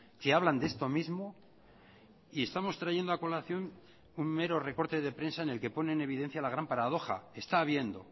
que hablan de esto mismo y estamos trayendo a colación un mero recorte de prensa en el que pone en evidencia la gran paradoja está habiendo